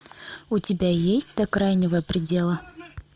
у тебя есть до крайнего предела